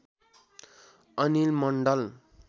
Anil Mandal